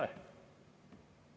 Ei ole.